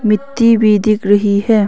मिट्टी भी दिख रही है।